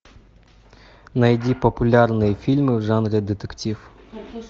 найди популярные фильмы в жанре детектив